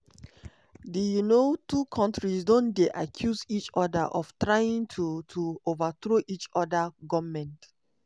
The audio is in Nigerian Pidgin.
di um two kontris don dey accuse each oda of trying to to overthrow each oda goment.